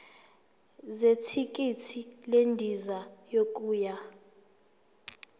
zethikithi lendiza yokuya